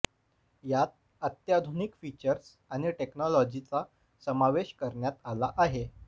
यात अत्याधुनिक फीचर्स आणि टेक्नोलॉजीचा समावेश करण्यात आला आहे